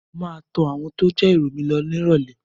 Mo máa tọ àwọn tó jẹ́ ìrọ̀ mi lọ nírọ̀lẹ́